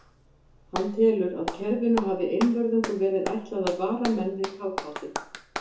Hann telur, að kerfinu hafi einvörðungu verið ætlað að vara menn við kafbátum.